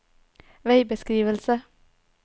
veibeskrivelse